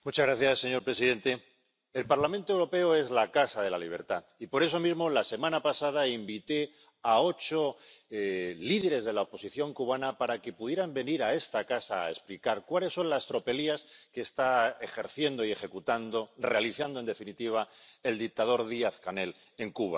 Señor presidente, el Parlamento Europeo es la casa de la libertad y, por eso mismo, la semana pasada invité a ocho líderes de la oposición cubana para que pudieran venir a esta casa a explicar cuáles son las tropelías que está ejerciendo y ejecutando, realizando en definitiva, el dictador Díaz Canel en Cuba.